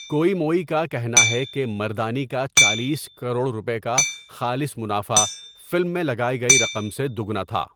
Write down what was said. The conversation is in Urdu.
کوئی موئی کا کہنا ہے کہ مردانی کا چالیس کروڑ روپے کا خالص منافع فلم میں لگائی گئی رقم سے دوگنا تھا۔